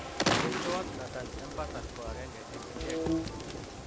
Mestowot Nathan Empsall ko agenge eng ichek.